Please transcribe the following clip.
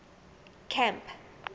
camp